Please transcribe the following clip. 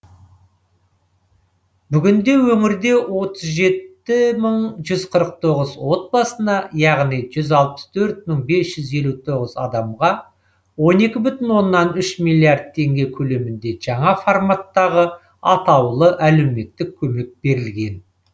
бүгінде өңірде отыз жеті мың жүз қырық тоғыз отбасына яғни жүз алпыс төрт мың бес жүз елу тоғыз адамға он екі бүтін оннан үш миллиард теңге көлемінде жаңа форматтағы атаулы әлеуметтік көмек берілген